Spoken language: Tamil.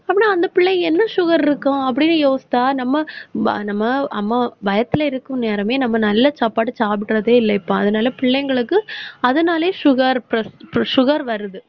அப்படின்னா, அந்த பிள்ளைக்கு என்ன sugar இருக்கும் அப்படின்னு யோசிச்சா நம்ம நம்ம அம்மா வயத்துல இருக்கும் நேரமே நம்ம நல்ல சாப்பாடு சாப்பிடுறதே இல்ல. இப்ப அதனால பிள்ளைங்களுக்கு அதனாலயே sugar, pres~, sugar வருது